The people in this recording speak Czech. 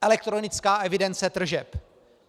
Elektronická evidence tržeb.